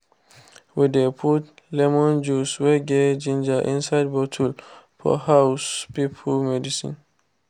we dey put lemon juice wey get ginger inside bottle for house people medicine